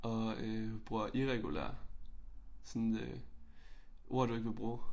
Og øh bruger irregulær sådan øh ord du ikke ville bruge